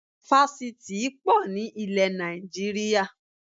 Fásitì í pọ̀ ní ilẹ̀ Nàìjíríà